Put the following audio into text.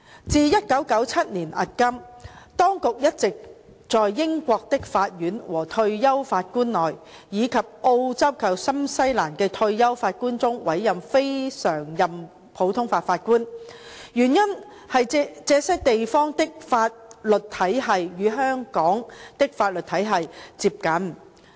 自1997年迄今，當局一直在英國的法官和退休法官，以及澳洲及新西蘭的退休法官中委任非常任普通法法官，原因是這些地方的法律體系與香港的法律體系最接近。